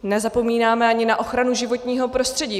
Nezapomínáme ani na ochranu životního prostředí.